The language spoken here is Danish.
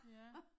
Ja